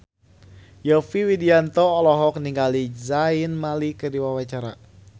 Yovie Widianto olohok ningali Zayn Malik keur diwawancara